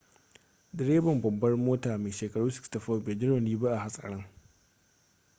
direban babbar motar mai shekaru 64 bai ji rauni ba a hatsarin